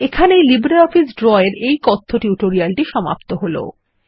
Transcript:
এখানেই LibreOffice Draw এর এই কথ্য টিউটোরিয়ালটি সমাপ্ত হল